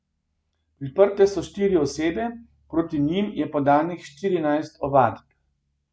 Priprte so štiri osebe, proti njim je podanih štirinajst ovadb.